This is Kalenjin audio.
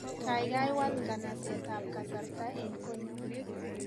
Kaikai wal nganaset ab kasarta eng konyo